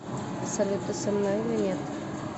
салют ты со мной или нет